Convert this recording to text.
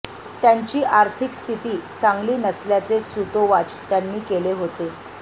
त्यांची आर्थिक स्थिती चांगली नसल्याचे सूतोवाच त्यांनी केले होते